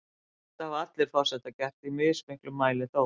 Þetta hafa allir forsetar gert, í mismiklum mæli þó.